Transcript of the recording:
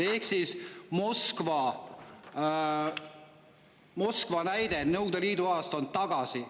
Ehk siis Moskva näide Nõukogude Liidu ajast on tagasi.